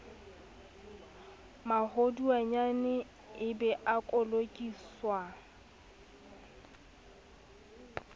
maholwanyane e be a kolokiswa